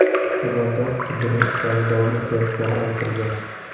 Xabarda qidiruv ishlari davom etayotgani aytilgan.